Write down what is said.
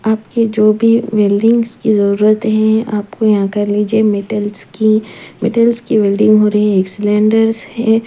आपकी जो भी वेल्डिंग्स की जरूरत है आपको यहाँ कर लीजिए मेटल्स की मेटल्स की वेल्डिंग हो रही है एक सिलेंडर्स है।